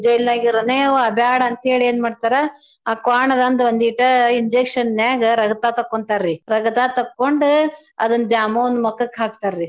ಜೈಲ್ನ್ಯಗ ಇರನೇವಾ ಬ್ಯಾಡ ಅಂತೇಳಿ ಏನ್ ಮಾಡ್ತರಾ ಆ ಕ್ವಾಣ್ದಂದ್ ವಂದೀಟ injection ನ್ಯಾಗ ರಗ್ತಾ ತಕ್ಕೋಂತಾರೀ ರಗ್ತಾ ತಕ್ಕೋಂಡ ಅದ್ನ ದ್ಯಾಮವ್ವನ್ ಮಕಕ್ ಹಾಕ್ತಾರೀ.